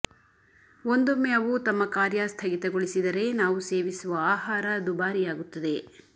ಒಂದೊಮ್ಮೆ ಅವು ತಮ್ಮ ಕಾರ್ಯ ಸ್ಥಗಿತಗೊಳಿಸಿದರೆ ನಾವು ಸೇವಿಸುವ ಆಹಾರ ದುಬಾರಿಯಾಗುತ್ತದೆ